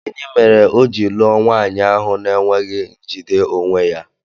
Gịnị mere o ji lụọ nwaanyị ahụ na-enweghi njide onwe ya?